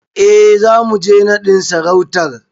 E, zamu je naɗin sarautar.